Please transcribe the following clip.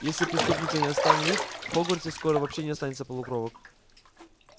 если преступника не остановить в хогвартсе скоро вообще не останется полукровок